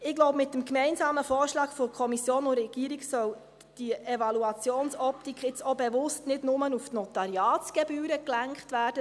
Ich glaube, mit dem gemeinsamen Vorschlag von Kommission und Regierung soll diese Evaluationsoptik nun auch bewusst nicht nur auf die Notariatsgebühren gelenkt werden.